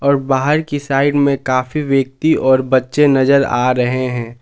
और बाहर की साइड में काफी व्यक्ति और बच्चे नजर आ रहे हैं।